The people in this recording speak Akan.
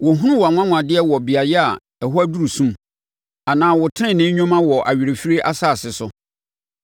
Wɔhunu wʼanwanwadeɛ wɔ beaeɛ a ɛhɔ aduru sum, anaa wo tenenee nnwuma wɔ awerɛfirie asase so?